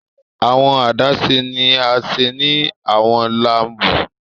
Awọn adaṣe ni a ṣe ni awọn laabu